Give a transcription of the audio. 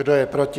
Kdo je proti?